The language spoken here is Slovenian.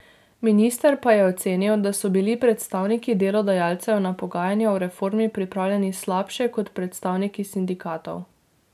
Minister pa je ocenil, da so bili predstavniki delodajalcev na pogajanja o reformi pripravljeni slabše kot predstavniki sindikatov.